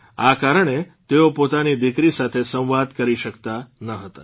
આ કારણે તેઓ પોતાની દીકરી સાથે સંવાદ કરી શક્તા ન હતા